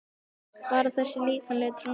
Bara þessi líkamlegi trúnaður sem engum kom við.